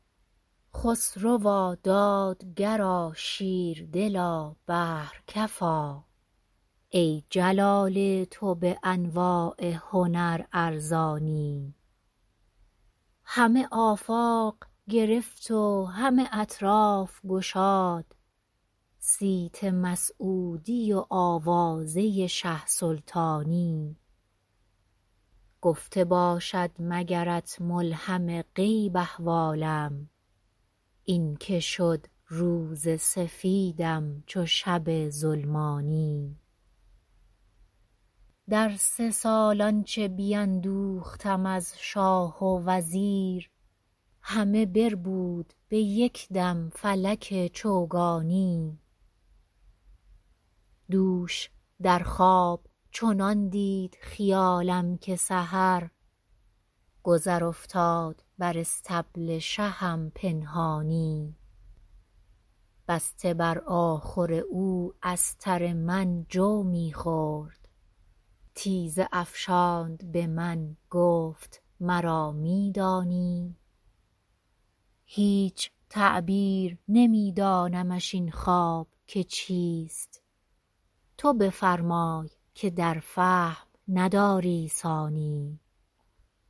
خسروا دادگرا شیردلا بحرکفا ای جلال تو به انواع هنر ارزانی همه آفاق گرفت و همه اطراف گشاد صیت مسعودی و آوازه شه سلطانی گفته باشد مگرت ملهم غیب احوالم این که شد روز سفیدم چو شب ظلمانی در سه سال آنچه بیندوختم از شاه و وزیر همه بربود به یک دم فلک چوگانی دوش در خواب چنان دید خیالم که سحر گذر افتاد بر اصطبل شهم پنهانی بسته بر آخور او استر من جو می خورد تیزه افشاند به من گفت مرا می دانی هیچ تعبیر نمی دانمش این خواب که چیست تو بفرمای که در فهم نداری ثانی